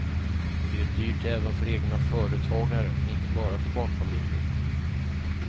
Det är dyrt även för egna företagare, inte bara för barnfamiljer.